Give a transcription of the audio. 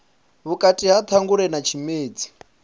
vhukati ha ṱhangule na tshimedzi